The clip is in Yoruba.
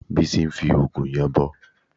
Bísí ń fi òògùn yanbọ